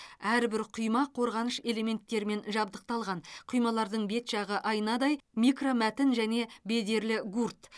әрбір құйма қорғаныш элементтерімен жабдықталған құймалардың бет жағы айнадай микромәтін және бедерлі гурт